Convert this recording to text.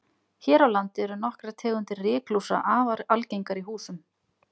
Hér á landi eru nokkrar tegundir ryklúsa afar algengar í húsum.